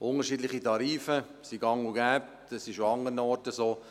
Unterschiedliche Tarife sind gang und gäbe, das ist auch an anderen Orten so.